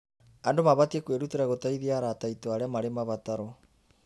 Andũ mabatiĩ kwĩrutĩra gũteithia arata aitũ arĩa marĩ mabataro.